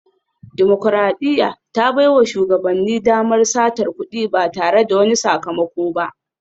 Dimokuradiyya ta baiwa shugabanni damar satar kudi ba tare da wani sakamako ba